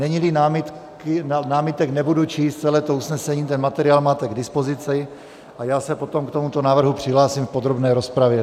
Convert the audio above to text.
Není-li námitek, nebudu číst celé to usnesení, materiál máte k dispozici a já se potom k tomuto návrhu přihlásím v podrobné rozpravě.